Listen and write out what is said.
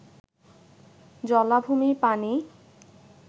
জলাভূমির পানি